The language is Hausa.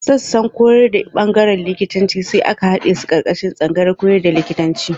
Sassan koyar da ɓangarorin likitanci sai aka haɗe su ƙarƙashin tsangayar koyar da likitanci.